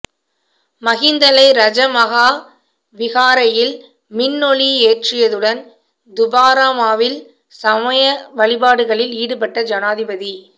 மிஹிந்தலை ரஜ மஹா விஹாரையில் மின்னொளியேற்றியதுடன் தூபராமவில் சமய வழிபாடுகளில் ஈடுபட்ட ஜனாதிபதி